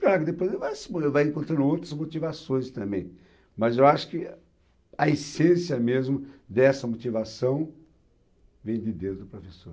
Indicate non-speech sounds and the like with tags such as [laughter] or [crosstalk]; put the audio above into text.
Claro, depois vai [unintelligible] vai encontrando outras motivações também, mas eu acho que a essência mesmo dessa motivação vem de dentro do professor.